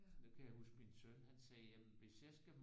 Nu kan jeg huske min søn han sagde jamen hvis jeg skal mod